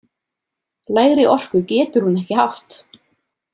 Lægri orku getur hún ekki haft!